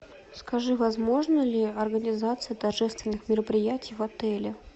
скажи возможна ли организация торжественных мероприятий в отеле